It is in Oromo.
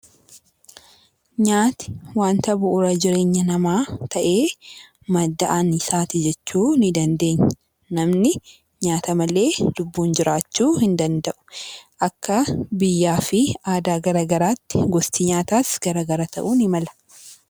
Nyaatni waanta bu'uura jireenya namaa ta'ee, madda anniisaati jechuu ni dandeenya. Namni nyaata malee lubbuun jiraachuu hin danda'u. Akka biyyaa fi aadaa garaagaraatti gosti nyaataas garaagara ta'uu ni mala.